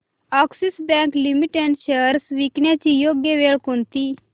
Axis bank limited shares विकण्याची योग्य वेळ कोणती